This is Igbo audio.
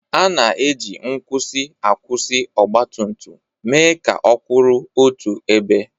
A na-eji nkwusi akwụsị ọgbatumtum mee ka ọ kwụrụ otu ebe.